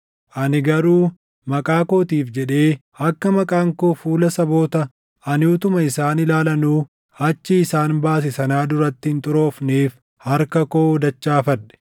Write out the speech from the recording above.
Ani garuu maqaa kootiif jedhee akka maqaan koo fuula saboota ani utuma isaan ilaalanuu achii isaan baase sanaa duratti hin xuroofneef harka koo dachaafadhe.